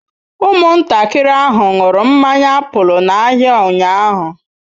Ụmụntakịrị ahụ ṅụrụ mmanya apụl n'ahịa ụnyahụ.